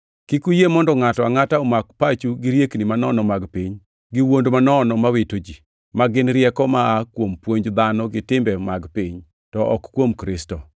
Kik uyie mondo ngʼato angʼata omak pachu gi riekni manono mag piny gi wuond manono ma wito ji, ma gin rieko ma aa kuom puonj dhano gi timbe mag piny, to ok kuom Kristo.